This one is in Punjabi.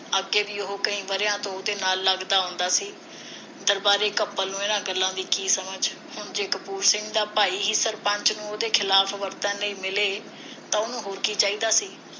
ਅੱਗੇ ਵੀ ਉਹ ਕਈ ਵਰਿਆਂ ਤੋਂ ਉਹਦੇ ਨਾਲ ਲੱਗਦਾ ਆਉਂਦਾ ਸੀ ਦਰਬਾਰੇ ਨੂੰ ਇਨ੍ਹਾਂ ਗੱਲਾਂ ਦੀ ਕੀ ਸਮਝ ਹੁਣ ਜੇ ਕਪੂਰ ਸਿੰਘ ਦਾ ਭਾਈ ਹੀ ਸਰਪੰਚ ਨੂੰ ਉਹਦੇ ਖਿਲਾਫ ਵਰਤਨ ਲਈ ਮਿਲੇ ਤਾਂ ਉਸਨੂੰ ਹੋਰ ਕੀ ਚਾਹੀਦਾ ਸੀ